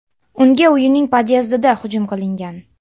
Unga uyining pod’ezdida hujum qilingan.